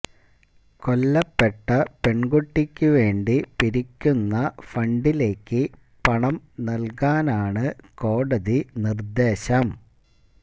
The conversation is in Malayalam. കൊല്ലപ്പെട്ട പെണ്കുട്ടിക്ക് വേണ്ടി പിരിക്കുന്ന ഫണ്ടിലേക്ക് പണം നല്കാനാണ് കോടതി നിര്ദ്ദേശം